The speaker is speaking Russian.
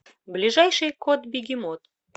ближайший котбегемот